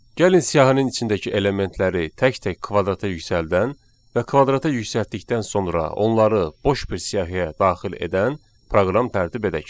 Gəlin siyahının içindəki elementləri tək-tək kvadrata yüksəldən və kvadrata yüksəltdikdən sonra onları boş bir siyahiyə daxil edən proqram tərtib edək.